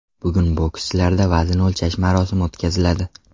Bugun bokschilarda vazn o‘lchash marosimi o‘tkaziladi.